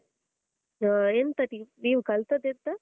ಆ ಎಂತ ಟಿ, ನೀವ್ ಕಲ್ತದೆಂತ?